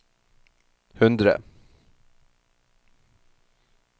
hundre